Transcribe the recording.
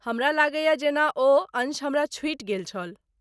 हमरा लगैए जेना ओ अंश हमरा छुटि गेल छल।